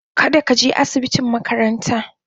kada ka je asibitin makarantan.